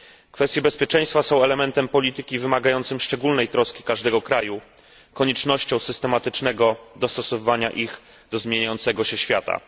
Kwestie bezpieczeństwa są elementem polityki wymagającym szczególnej troski każdego kraju, obligują do systematycznego dostosowywania ich do zmieniającego się świata.